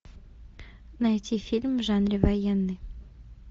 найти фильм в жанре военный